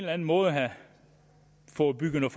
anden måde har fået bygget